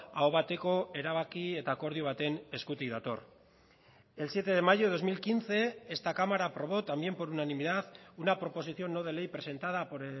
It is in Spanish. aho bateko erabaki eta akordio baten eskutik dator el siete de mayo de dos mil quince esta cámara aprobó también por unanimidad una proposición no de ley presentada por